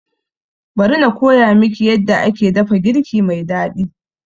Bari na koya miki yadda aka dafa girki mai daɗi